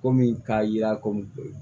Komi k'a yira ko